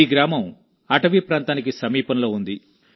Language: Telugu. ఈ గ్రామం అటవీ ప్రాంతానికి సమీపంలో ఉంది